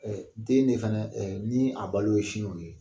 Ɛɛ den de fɛnɛ, ɛɛ ni a balo ye sin kɔni ye